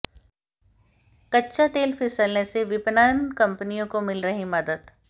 कच्चा तेल फिसलने से विपणन कंपनियों को मिल रही मदद